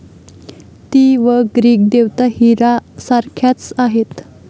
ती व ग्रीक देवता हिरा सारख्याच आहेत.